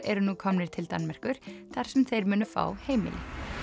eru nú komnir til Danmerkur þar sem þeir munu fá heimili